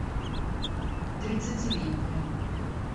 тридцатилетние